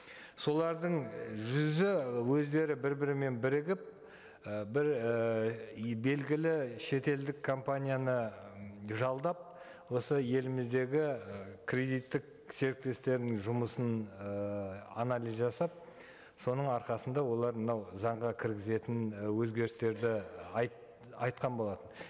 солардың жүзі өздері бір бірімен бірігіп і бір ііі белгілі шетелдік компанияны жалдап осы еліміздегі ы кредиттік серіктестерінің жұмысын ыыы анализ жасап соның арқасында олар мынау заңға кіргізетін і өзгерістерді айтқан болатын